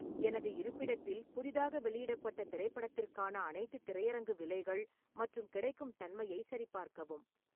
எனது இருப்பிடத்தில் புதிதாக வெளியிடப்பட்ட திரைப்படத்திற்கான அனைத்து திரையரங்கு விலைகள் மற்றும் கிடைக்கும் தன்மையை சரிபார்க்கவும்